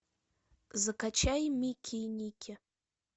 закачай мики и ники